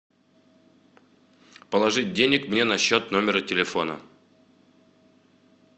положить денег мне на счет номера телефона